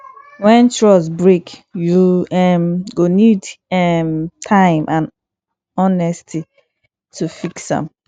wen trust break yu um go nid um time and honesty to fix am